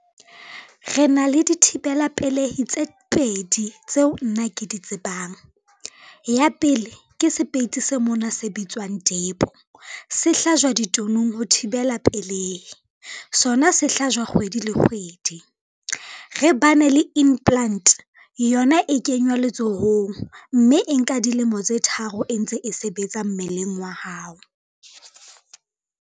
Re na le di thibela pelehi tse pedi tseo nna ke di tsebang, ya pele ke sepeiti se mona se bitswang depo se hlajwa ditonong ho thibela pelehi, sona se hlajwa kgwedi le kgwedi. Re bane le implant yona e kenywa letsohong mme e nka dilemo tse tharo, e ntse e sebetsa mmeleng wa hao.